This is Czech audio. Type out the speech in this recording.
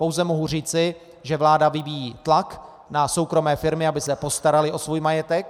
Pouze mohu říci, že vláda vyvíjí tlak na soukromé firmy, aby se postaraly o svůj majetek.